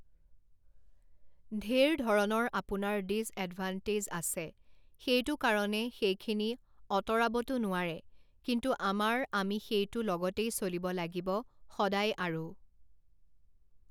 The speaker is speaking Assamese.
ঢেৰ ধৰণৰ আপোনাৰ ডিজএডভান্টেজ আছে সেইটো কাৰণে সেইখিনি অঁতৰাবতো নোৱাৰে কিন্তু আমাৰ আমি সেইটো লগতেই চলিব লাগিব সদায় আৰু